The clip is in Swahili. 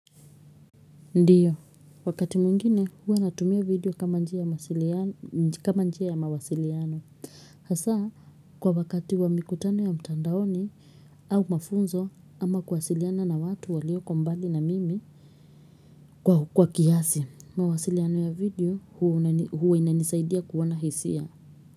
Ndiyo, wakati mwingine huwa natumia video kama njia ya mawasiliano kama njia ya mawasiliano. Hasa kwa wakati wa mikutano ya mtandaoni au mafunzo ama kuwasiliana na watu walioko mbali na mimi kwa kiasi mawasiliano ya video huwa inanisaidia kuona hisia.